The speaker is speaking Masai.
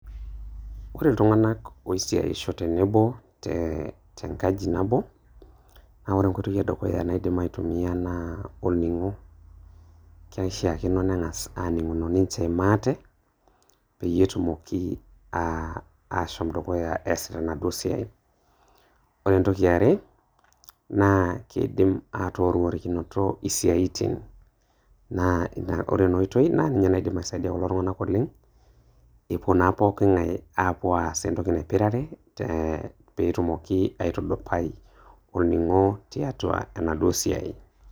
Ore iltung'anak oisiaisho tenebo te tenkaji nabo, na Ore enkoitoi edukuya naidim aitumia naa olning'o. Keishaakino neng'as aaning'uno ninche maate, peyie etumoki ah ashom dukuya eesita enaduo siai. Ore entoki eare, naa keidim atoworikinoto isiaitin. Na Ore ena oitoi na ninye naidim aisaidia kulo tung'anak oleng' epuo na pooking'ae apuo aas entoki naipirare te petumoki aitudupai olning'o tiatua enaduo siai.